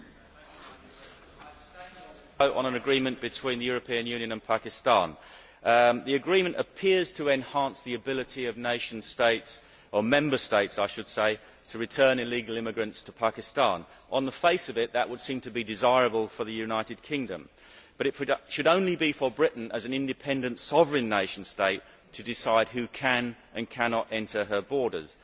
Madam President, I abstained on the vote on an agreement between the European Union and Pakistan. The agreement appears to enhance the ability of nation states, or Member States I should say, to return illegal immigrants to Pakistan. On the face of it, that would seem to be desirable for the United Kingdom, but it should only be for Britain, as an independent sovereign nation state, to decide who can and cannot enter her borders.